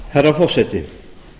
herra forseti